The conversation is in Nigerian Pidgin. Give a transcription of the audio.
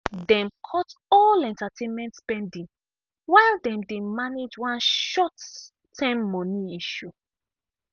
dem cut all entertainment spending while dem dey manage one short-term money issue.